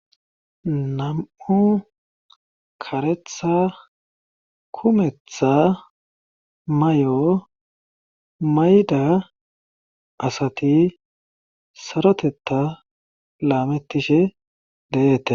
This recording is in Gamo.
nam7u karetha kumetha may7o mayida asati sarotetta laamettishe deyeete